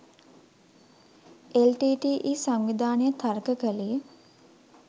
LTTE. සංවිධානය තර්ක කළේ